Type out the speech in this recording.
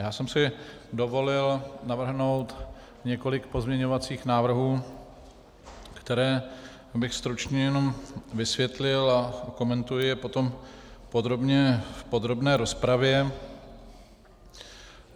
Já jsem si dovolil navrhnout několik pozměňovacích návrhů, které bych stručně jenom vysvětlil, a okomentuji je potom podrobně v podrobné rozpravě.